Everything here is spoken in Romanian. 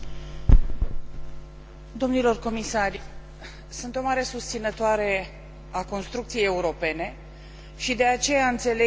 Sunt o mare susținătoare a construcției europene și de aceea înțeleg inclusiv ideea de unitate în fața crizei economice.